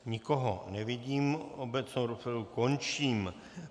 Nikoho nevidím, obecnou rozpravu končím.